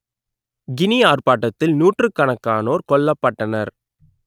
Guinea ஆர்ப்பாட்டத்தில் நூற்றுக்கணக்கானோர் கொல்லப்பட்டனர்